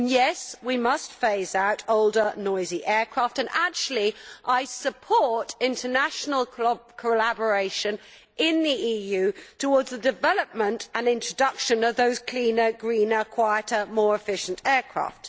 And yes, we must phase out older noisy aircraft and actually I support international collaboration in the EU towards the development and introduction of those cleaner, greener, quieter, more efficient aircraft.